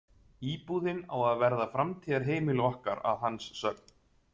Íbúðin á að verða framtíðarheimili okkar að hans sögn.